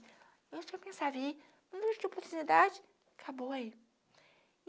A gente só precisava ir, não tinha muita oportunidade, acabou aí.